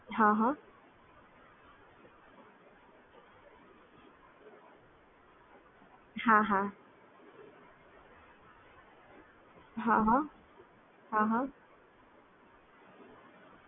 હા હા